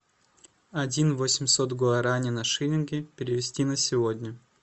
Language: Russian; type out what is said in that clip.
один восемьсот гуарани на шиллинги перевести на сегодня